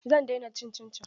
Zan daina cin cincin.